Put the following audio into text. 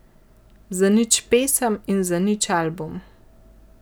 Zanič pesem in zanič album.